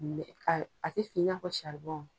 A tɛ fin i n'a fɔ